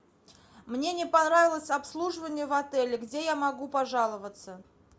мне не понравилось обслуживание в отеле где я могу пожаловаться